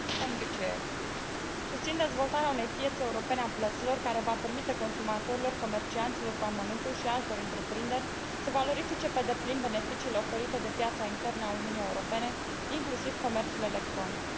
Domnule președinte, susțin dezvoltarea unei piețe europene a plăților care va permite consumatorilor, comercianților cu amănuntul și altor întreprinderi să valorifice pe deplin beneficiile oferite de piața internă a Uniunii Europene, inclusiv comerțul electronic.